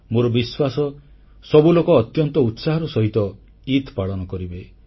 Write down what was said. ମୋର ବିଶ୍ୱାସ ସବୁ ଲୋକ ଅତ୍ୟନ୍ତ ଉତ୍ସାହର ସହିତ ଇଦ୍ ପାଳନ କରିବେ